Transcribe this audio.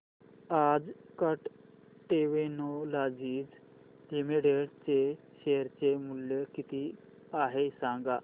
आज Kat Technologies Limited चे share चे मूल्य किती आहे सांगा